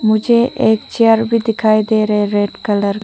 मुझे एक चेयर भी दिखाई दे रहे रेड कलर --